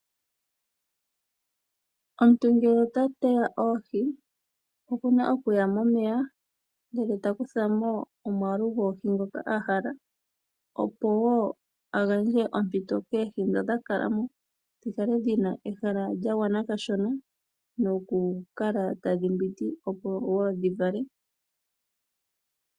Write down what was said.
Omuntu ngele ota teya oohi okuna okuya momeya ndele ta kuthamo omwaalu gwoohi ndhoka ahala, opo a gandje ompito koohi dhi tadhi kala mo dhikale dhina ehala lyagwana kashona noku kala tadhi mbwindi opo dhivale.